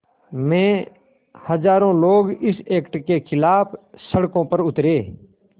में हज़ारों लोग इस एक्ट के ख़िलाफ़ सड़कों पर उतरे